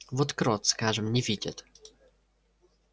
вот крот скажем не видит